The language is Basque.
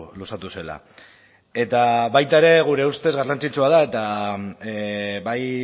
luzatu zela eta baita ere gure ustez garrantzitsua da eta bai